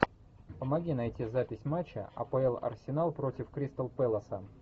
помоги найти запись матча апл арсенал против кристал пэласа